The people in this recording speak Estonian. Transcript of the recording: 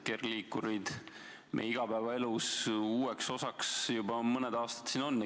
Kergliikurid on meie igapäevaelu uueks osaks juba mõned aastad olnud.